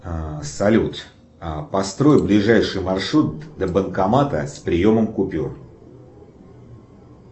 салют построй ближайший маршрут до банкомата с приемом купюр